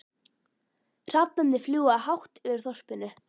Hrafnarnir fljúga hátt yfir þorpinu.